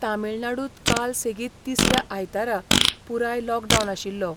तामीळनाडूंत काल सेगीत तिसऱ्या आयतारा पुराय लॉकडावन आशिल्लो.